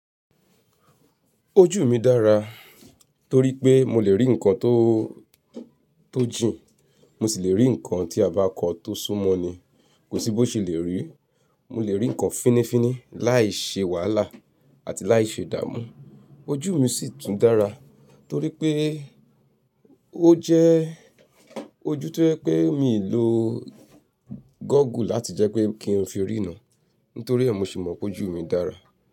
Ojú mi dára torí pé mo lè rí ǹkan tó, tó jìn. Mo sì lè rí nkan tí a bá kọ tó súnmọ́ ni, kòsí bó ṣe lè rí. Mo lè rí ǹkan fínnífínní láì ṣe wàhálà àti láì ṣe dààmú. Ojú mi sì tún dára torí pé ó jẹ́ ojú tó jẹ́ pé mi lo gógùú láti jẹ́ pé kí n fi riran nítorí ẹ, mo se mọ̀ pé ojú mi dára.